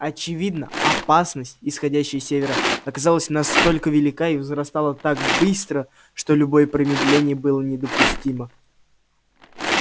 очевидно опасность исходящая с севера оказалась настолько велика и возрастала так быстро что любое промедление было недопустимо